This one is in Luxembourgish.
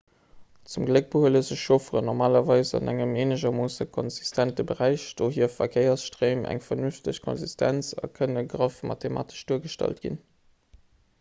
zum gléck behuele sech chaufferen normalerweis an engem eenegermoosse konsistente beräich dohier hu verkéiersstréim eng vernünfteg konsistenz a kënne graff mathematesch duergestallt ginn